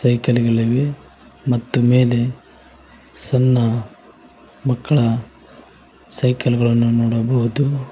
Vehicle ಗಳಿವೆ ಮತ್ತು ಮೇಲೆ ಸಣ್ಣ ಮಕ್ಕಳ ಸೈಕಲ್ ಗಳನ್ನು ನೋಡಬಹುದು.